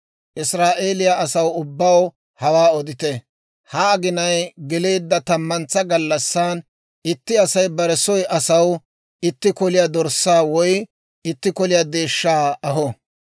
Israa'eeliyaa asaw ubbaw hawaa odite; ha aginay geleedda tammantsa gallassan, itti Asay bare soy asaw itti koliyaa dorssaa woy itti koliyaa deeshshaa aho.